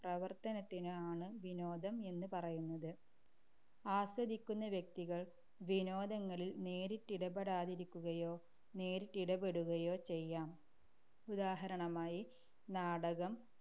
പ്രവർത്തനത്തിനോ ആണ്‌ വിനോദം എന്നു പറയുന്നത്‌. ആസ്വദിക്കുന്ന വ്യക്തികൾ വിനോദങ്ങളിൽ നേരിട്ടിടപെടാതിരിക്കുകയോ നേരിട്ടിടപെടുകയോ ചെയ്യാം. ഉദാഹരണമായി നാടകം,